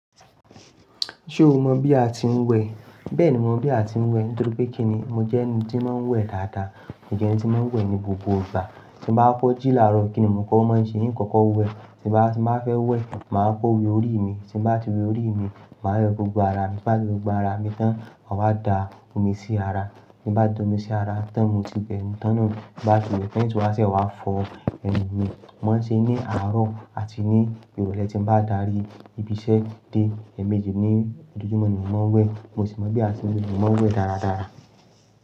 Ṣé o mọ̀ bí a ti ń wẹ? Bẹ́ẹ̀ni, mo mọ̀ bí a ti ń wẹ. Nítorí pé kíni, mo jẹ́ ẹni tí ń máa ń wẹ dáadáa. Ẹni tí ń máa ń wẹ ní gbogbo ìgbà. Tí ń bá kọ jí làárọ̀, kíni mò kó máa ń ṣe? Nìkan kọ wẹ. Tí bá, tí máa fẹ́ wẹ, màá kọ wẹ orí mi. Tí bá ti wẹ orí mi, màá wẹ gbogbo ara mi. Bá ti wẹ gbogbo ara mi tán, màá wá da omi sí ara. Tí bá da omi sí ara tán, mo ti bẹ̀rù. Tán náà bá ti wẹ̀, paint wa ṣẹ wá fọ ẹnu mi. Mọ̀ ń ṣe ní àárọ̀ àti ní ìrọ̀lẹ́ tí ń bá dárí ibi iṣẹ́ dé. Ẹ̀ẹ̀mejì ní ojojúmọ́ ni mò ń wẹ. Mo sì mọ bí a ti ń wẹ̀, mo sì máa ń wẹ̀ dáradára.